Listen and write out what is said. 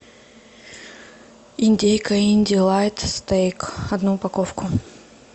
индейка индилайт стейк одну упаковку